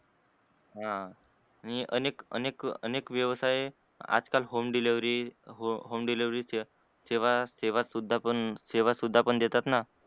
ह अनेक अनेक अनेक व्यवसाय आजकाल home delivery सेवा सेवा सेवा शुद्धा शुद्धा पण देतात न?